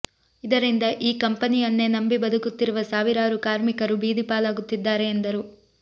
ಇದರಿಂದ ಈ ಕಂಪನಿಯನ್ನೇ ನಂಬಿ ಬದುಕುತ್ತಿರುವ ಸಾವಿರಾರು ಕಾರ್ಮಿಕರು ಬೀದಿ ಪಾಲಾಗುತ್ತಿದ್ದಾರೆ ಎಂದರು